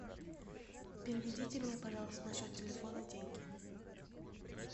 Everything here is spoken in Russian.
переведите мне пожалуйста на счет телефона деньги